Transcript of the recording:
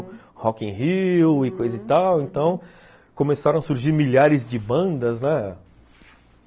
Rock in Rio e coisa e tal, então começaram a surgir milhares de bandas, né?